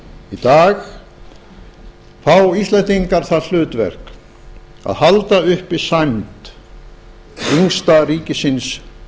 í dag fá íslendingar það hlutverk að halda uppi sæmd yngsta ríkisins